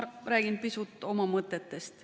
Aga ma räägin pisut oma mõtetest.